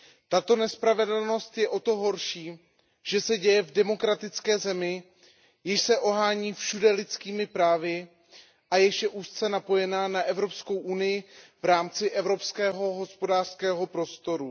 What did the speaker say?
Tato nespravedlnost je o to horší, že se děje v demokratické zemi, jež se ohání všude lidskými právy a jež je úzce napojena na EU v rámci Evropského hospodářského prostoru.